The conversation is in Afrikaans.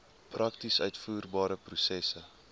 prakties uitvoerbare prosesse